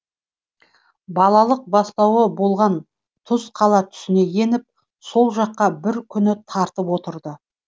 балалық бастауы болған тұзқала түсіне еніп сол жаққа бір күні тартып отырды